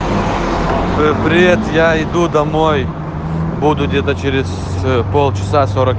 привет я иду домой буду где-то через полчаса сорок